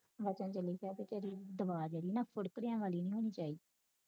ਮੈਂ ਤੇ ਤੈਨੂੰ ਕਿਹਾ ਬਾਈ ਤੇਰੀ ਦਵਾ ਜਿਹਵੀ ਨਾ ਵਾਲੀ ਨੀ ਹੋਣੀ ਚਾਹੀਦੀ